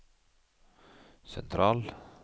sentral